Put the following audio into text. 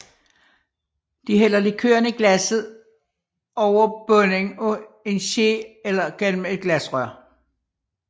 De hælder likøren i glasset over bunden af en ske eller gennem et glasrør